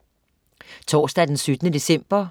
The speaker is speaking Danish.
Torsdag den 17. december